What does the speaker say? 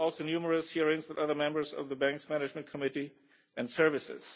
There were also numerous hearings with other members of the Bank's management committee and services.